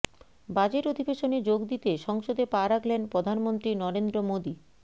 budget অধিবেশনে যোগ দিতে সংসদে পা রাখলেন প্রধানমন্ত্রী নরেন্দ্র মোদী